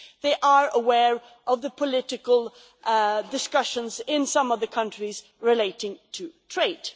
they are aware of the political discussions in some of the countries relating to trade.